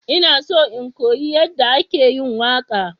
Ina so in koyi yadda ake waƙa.